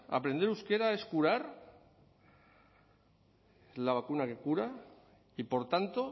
aprender euskera es curar la vacuna que cura y por tanto